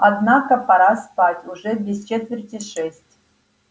однако пора спать уже без четверти шесть